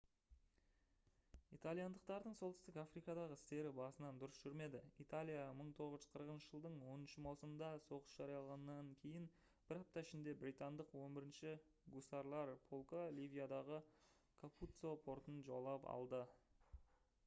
итальяндықтардың солтүстік африкадағы істері басынан дұрыс жүрмеді италия 1940 жылдың 10 маусымында соғыс жариялағаннан кейін бір апта ішінде британдық 11-ші гусарлар полкы ливиядағы капуццо фортын жаулап алды